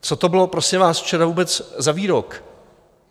Co to bylo, prosím vás, včera vůbec za výrok?